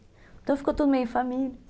Então ficou tudo meio família, assim.